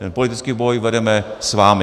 Ten politický boj vedeme s vámi.